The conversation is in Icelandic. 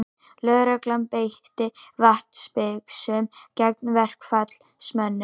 Lögregla beitti vatnsbyssum gegn verkfallsmönnum